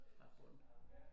Fra æ bund